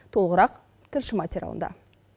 толығырақ тілші материалында